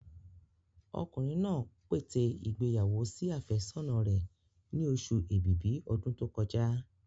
Ọkùnrin náà pète ìgbéyàwó sí àfẹ́sọ́nà rẹ̀ ni oṣù ẹ̀bìbí ọdún tó kọjá.